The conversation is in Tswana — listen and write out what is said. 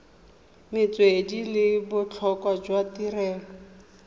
metswedi le botlhokwa jwa tirelo